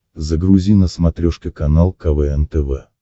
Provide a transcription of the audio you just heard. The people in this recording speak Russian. загрузи на смотрешке канал квн тв